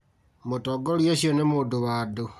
Mũtongoria ũcio nĩ mũndũ wa andũ